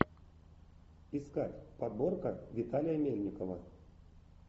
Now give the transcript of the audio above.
искать подборка виталия мельникова